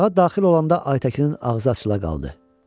Otağa daxil olanda Aytəkinin ağzı açıla qaldı.